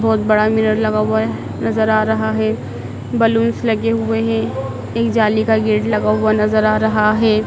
बहोत बड़ा मिरर लगा हुआ नजर आ रहा है बलूंस लगे हुए हैं एक जाली का गेट लगा हुआ नजर आ रहा है।